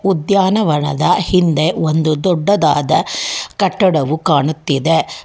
ಉದ್ಯಾನವನದ ಹಿಂದೆ ಒಂದು ದೊಡ್ಡದಾದ ಕಟ್ಟಡವು ಕಾಣುತ್ತಿದೆ.